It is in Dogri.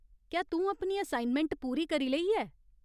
क्या तूं अपनी असाइनमैंट पूरी करी लेई ऐ ?